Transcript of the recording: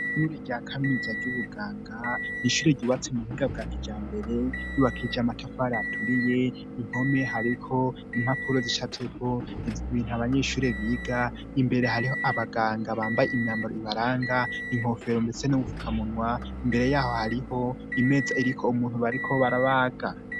Ishure rya kaminuza ry'ubuganga n'ishure ryubatse mu buhinga bwa kijambere ryubakishije matafari aturiye, impome hariko impapuro zicafyeko ibintu abanyeshure biga, imbere hariho abaganga bambaye imyambaro ibaranga, inkofero mbese n'ubupfukamunwa, imbere yaho hariho imeza iriko umuntu bariko barabaga.